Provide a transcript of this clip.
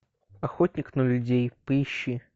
охотник на людей поищи